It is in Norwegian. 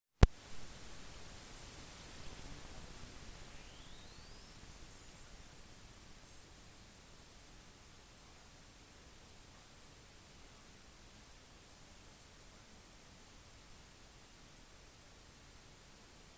hun oppnådde kritisk anerkjennelse under sin tid i atlanta og ble anerkjent for nyskapende urban utdanning